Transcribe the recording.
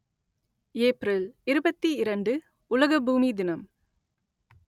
April இருபத்தி இரண்டு உலக பூமி தினம்